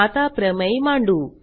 आता प्रमेय मांडू